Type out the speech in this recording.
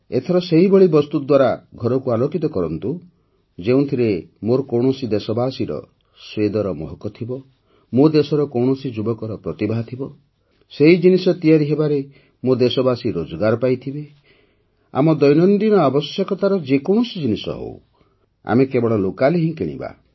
ଏଥର ସେହିଭଳି ବସ୍ତୁ ଦ୍ୱାରା ଘରକୁ ଆଲୋକିତ କରନ୍ତୁ ଯେଉଁଥିରେ ମୋର କୌଣସି ଦେଶବାସୀର ସ୍ୱେଦର ମହକ ଥିବ ମୋ ଦେଶର କୌଣସି ଯୁବକର ପ୍ରତିଭା ଥିବ ସେହି ଜିନିଷ ତିଆରି ହେବାରେ ମୋ ଦେଶବାସୀ ରୋଜଗାର ପାଇଥିବେ ଆମ ଦୈନନ୍ଦିନ ଆବଶ୍ୟକତାର ଯେକୌଣସି ଜିନିଷ ହେଉ ଆମେ କେବଳ ଲୋକାଲ୍ ହିଁ କିଣିବା